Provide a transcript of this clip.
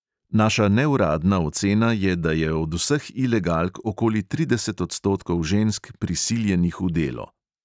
Naša neuradna ocena je, da je od vseh ilegalk okoli trideset odstotkov žensk prisiljenih v delo.